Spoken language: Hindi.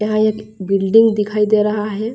यहाँ एक बिल्डिंग दिखाई दे रहा है।